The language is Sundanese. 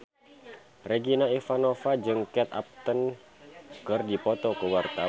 Regina Ivanova jeung Kate Upton keur dipoto ku wartawan